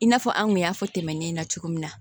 I n'a fɔ an kun y'a fɔ tɛmɛne na cogo min na